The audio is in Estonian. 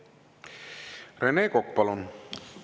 Rene Kokk, palun!